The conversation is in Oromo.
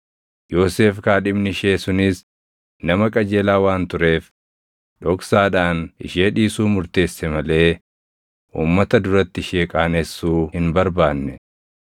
Yoosef kaadhimni ishee sunis nama qajeelaa waan tureef, dhoksaadhaan ishee dhiisuu murteesse malee uummata duratti ishee qaanessuu hin barbaanne.